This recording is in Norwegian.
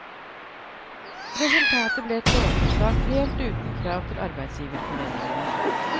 Resultatet ble et lovforslag helt uten krav til arbeidsgiverforeningene.